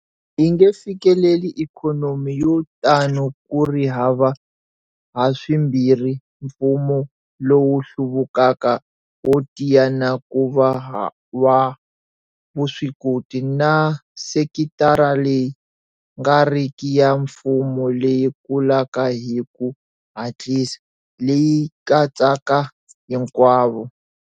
Hi nge fikeleli ikhonomi yo tano ku ri hava haswimbirhi mfumo lowu hluvukaka wo tiya na ku va wa vuswikoti na sekitara leyi nga riki ya mfumo leyi kulaka hi ku hatlisa, leyi katsaka hinkwavo.